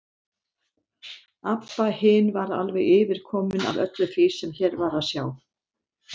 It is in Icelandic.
Abba hin var alveg yfirkomin af öllu því sem hér var að sjá.